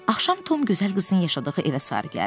Axşam Tom gözəl qızın yaşadığı evə sarı gəldi.